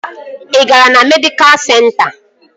Ị gara na medịkal senta?